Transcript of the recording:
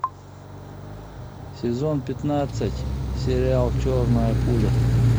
сезон пятнадцать сериал черная пуля